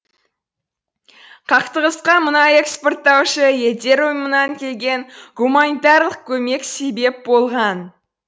қақтығысқа мұнай экспорттаушы елдер ұйымынан келген гуманитарлық көмек себеп болған